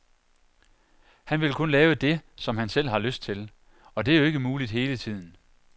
Han vil kun lave dét, som han selv har lyst til, og det er jo ikke muligt hele tiden.